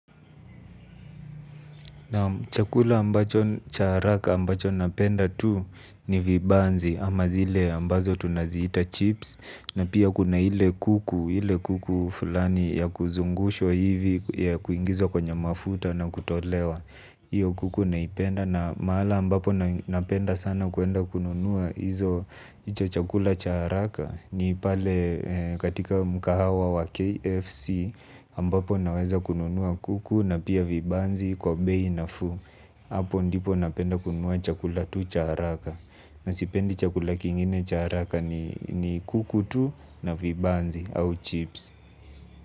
Na chakula ambacho cha haraka ambacho napenda tu ni vibanzi ama zile ambazo tunaziita chips na pia kuna hile kuku ile kuku fulani ya kuzungushwa hivi ya kuingizwa kwenye mafuta na kutolewa. Iyo kuku naipenda na mahala ambapo napenda sana kwenda kununua hizo chakula cha haraka. Ni pale katika mkahawa wa KFC ambapo naweza kununua kuku na pia vibanzi kwa bei nafuu. Apo ndipo napenda kununua chakula tu cha haraka. Na sipendi chakula kingine cha haraka ni kuku tu na vibanzi au chips.